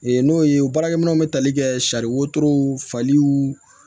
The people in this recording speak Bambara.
n'o ye baarakɛ minɛw bɛ tali kɛ sariw faliw